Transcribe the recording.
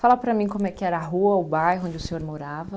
Fala para mim como é que era a rua, o bairro onde o senhor morava.